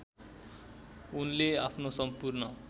उनले आफ्नो सम्पूर्ण